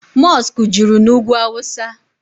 Mọskụ juru na ugwu awụsa.